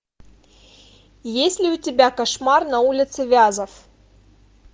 есть ли у тебя кошмар на улице вязов